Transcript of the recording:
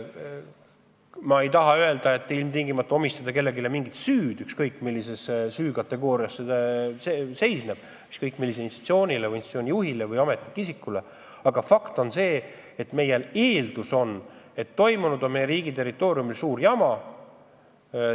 Ma ei taha öelda, et ilmtingimata tuleb kellelegi omistada mingi süü, ükskõik millise süükategooriaga, ükskõik millise institutsiooni või institutsiooni juhi või ametiisikuga tegu ka poleks – fakt on see, et meie riigi territooriumil on teoks saanud suur jama.